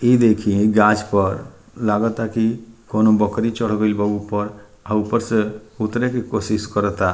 इ देखी इ गाछ पर लागता की कोनो बकरी चढ़ गइल बा ऊपर अ ऊपर से उतरे के कोशिश करता।